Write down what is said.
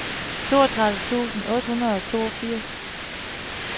toogtredive tusind otte hundrede og toogfirs